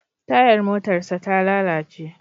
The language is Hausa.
Tayar motarsa ta lalace.